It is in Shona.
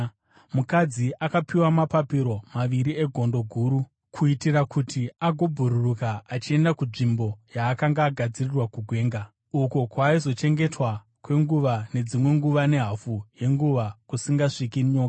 Mukadzi akapiwa mapapiro maviri egondo guru, kuitira kuti agobhururuka achienda kunzvimbo yaakanga agadzirirwa kugwenga, uko kwaaizochengetwa kwenguva nedzimwe nguva nehafu yenguva, kusingasviki nyoka.